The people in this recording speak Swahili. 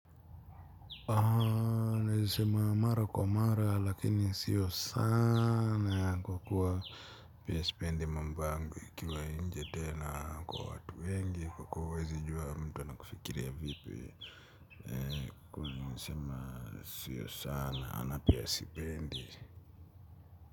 Naezasema mara kwa mara lakini sio sana kwa kuwa pia sipendi mambo yangu yakiwa nje tena kwa watu wengi kwa kuwa huwezijua mtu anakufikiria vipi. Kwa nasema sio sana ama pia sipendi.